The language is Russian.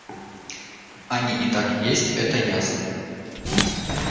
они и так есть это ясно